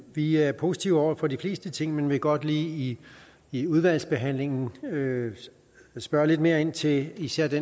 vi er positive over for de fleste ting men vil godt lige i udvalgsbehandlingen spørge lidt mere ind til især det